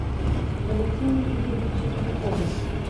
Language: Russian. валентине игоревиче белякове